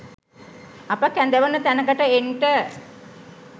අප කැඳවන තැනකට එන්ට